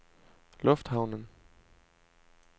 lufthavnen